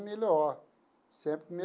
Melhor sempre